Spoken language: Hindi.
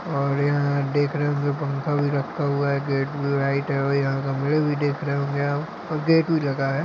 और यहाँ देख रहे होंगे की पंखा भी रखा हुआ है गेट में और लाइट है और यहाँ गमले भी देख रहे होंगे हम और गेट भी लगा है।